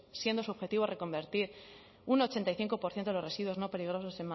siendo su objetivo reconvertir un ochenta y cinco por ciento de los residuos no peligrosos